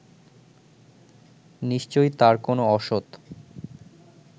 নিশ্চয়ই তার কোন অসৎ